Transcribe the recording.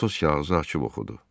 Atos kağızı açıb oxudu.